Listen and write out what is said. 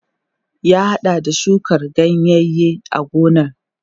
Ya haɗa da shuka ganyaye a gonar.